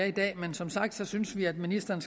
i dag men som sagt synes vi at ministeren